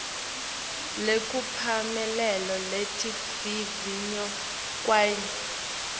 lekuphumelela laletivivinyo kwanyalo